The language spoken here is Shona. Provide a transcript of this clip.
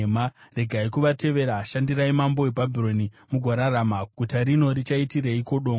Regai kuvateerera. Shandirai mambo weBhabhironi, mugorarama. Guta rino richaitireiko dongo?